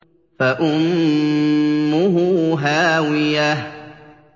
فَأُمُّهُ هَاوِيَةٌ